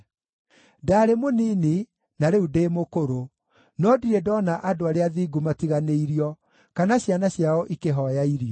Ndaarĩ mũnini, na rĩu ndĩ mũkũrũ, no ndirĩ ndoona andũ arĩa athingu matiganĩirio, kana ciana ciao ikĩhooya irio.